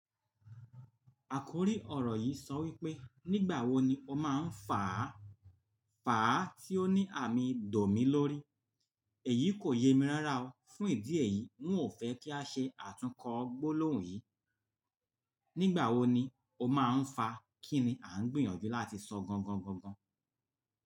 Àkòrí ọ̀rọ̀ yìí sọ wípé nígbà wo ni o máa ń fàá, fàá tí ó ní àmì dòmí lórí, èyí kò yẹ mi rárá o. Fún ìdí èyí, ń ò fẹ́ kí a ṣe àtúnkọ gbólóhùn yìí. Nígbà wo ni o máa ń fàá, kí ni à ń gbìyànjú láti sọ gangan, gangan?